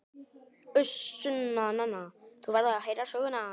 Uss Sunna, þú verður að heyra söguna!